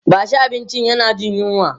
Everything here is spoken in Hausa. bashi abinci yana Jin yunwa!